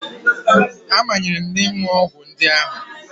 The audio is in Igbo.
A manyere m ịṅụ ọgwụ ndị ahụ